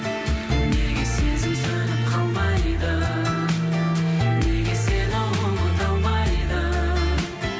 неге сезім сөніп қалмайды неге сені ұмыта алмайды